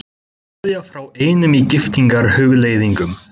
Kveðja frá einum í giftingarhugleiðingum.